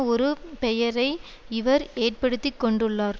ஒரு பெயரை இவர் ஏற்படுத்தி கொண்டுள்ளார்